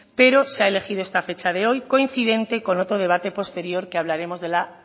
pero se ha elegido esta fecha de hoy coincidente con otro debate posterior que hablaremos de la